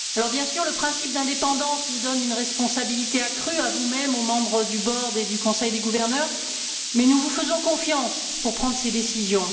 Bien sûr, le principe d'indépendance vous donne une responsabilité accrue, à vous mêmes, aux membres du Directoire et du Conseil des gouverneurs, mais nous vous faisons confiance pour prendre ces décisions.